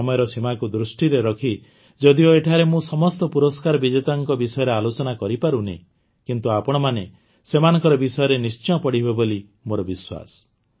ସମୟର ସୀମାକୁ ଦୃଷ୍ଟିରେ ରଖି ଯଦିଓ ଏଠାରେ ମୁଁ ସମସ୍ତ ପୁରସ୍କାର ବିଜେତାମାନଙ୍କ ବିଷୟରେ ଆଲୋଚନା କରିପାରୁନାହିଁ କିନ୍ତୁ ଆପଣମାନେ ସେମାନଙ୍କ ବିଷୟରେ ନିଶ୍ଚୟ ପଢ଼ିବେ ବୋଲି ମୋର ବିଶ୍ୱାସ